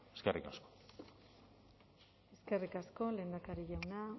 eskerrik asko eskerrik asko lehendakari jauna